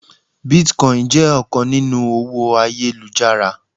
bitcoin jẹ ọkan ninu owó ayélujára